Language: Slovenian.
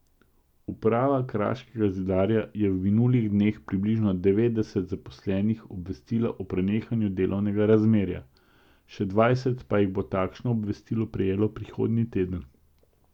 Uprava Kraškega zidarja je v minulih dneh približno devetdeset zaposlenih obvestila o prenehanju delovnega razmerja, še dvajset pa jih bo takšno obvestilo prejelo prihodnji teden.